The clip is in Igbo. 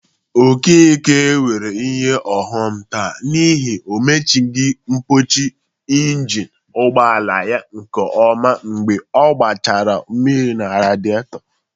Okeke nwere ihe ọghọm taa n'ihi o mechizighi mpọchị ịnjịnị ụgbọala ya nke ọma mgbe ọ gbanyechara mmiri na radịetọ.